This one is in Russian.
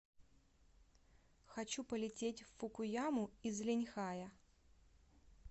хочу полететь в фукуяму из линьхая